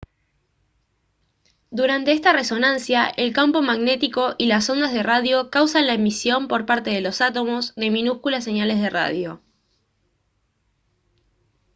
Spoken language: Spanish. durante esta resonancia el campo magnético y las ondas de radio causan la emisión por parte de los átomos de minúsculas señales de radio